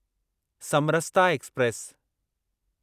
Samarsata express